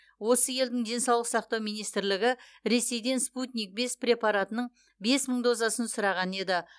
осы елдің денсаулық сақтау министрлігі ресейден спутник бес препаратының бес мың дозасын сұраған еді